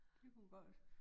Det kunne godt